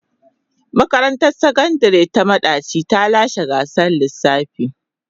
Makarantar Sakandare ta Madaci ta lashe gasar lissafi.